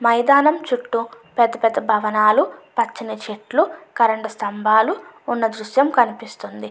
మైదానం చుట్టూ పెద్ద పెద్ద భవనాలు పచ్చని చెట్లు కరెంటు స్తంభాలు ఉన్న దృశ్యం కనిపిస్తుంది.